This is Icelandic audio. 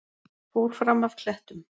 Fór fram af klettum